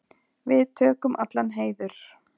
Við tökum allan heiður.